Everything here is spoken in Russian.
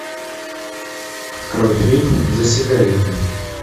открой фильм за сигаретами